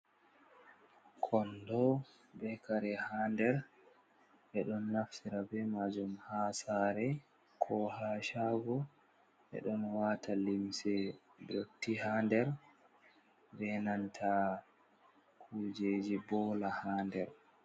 Kondo be kare ha der beɗon naftira be majum ha sare ko ha shago ɓe ɗon wata limse dotti ha der be nanta kujeji bola ha nder.